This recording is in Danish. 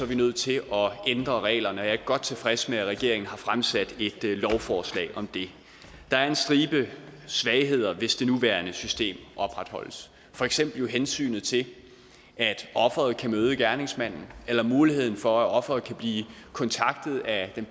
vi nødt til at ændre reglerne jeg er godt tilfreds med at regeringen har fremsat et lovforslag om det der er en stribe svagheder hvis det nuværende system opretholdes for eksempel med hensyn til at ofret kan møde gerningsmanden eller muligheden for at ofret kan blive kontaktet af den